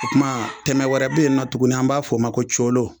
O tuma tɛmɛ wɛrɛ bɛ yen nɔ tuguni an b'a fɔ o ma ko colo